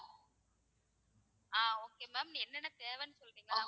ஆஹ் okay ma'am என்னென்ன தேவைன்னு கொடுத்தீங்கன்னா,